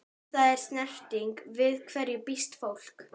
Ef það er snerting- við hverju býst fólk?